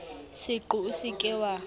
seqo o se ke wa